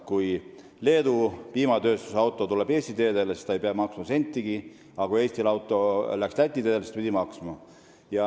Kui Leedu piimatööstuse auto tuli Eesti teedele, siis ta ei pidanud sentigi maksma, aga kui Eesti auto läks Läti teedele, siis ta pidi maksma.